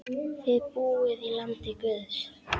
Þið búið í landi guðs.